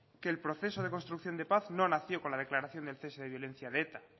que el proceso de construcción de paz no nació con la declaración del cese de violencia de eta